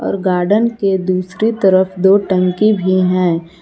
और गार्डेन के दूसरी तरफ दो टंकी भी है।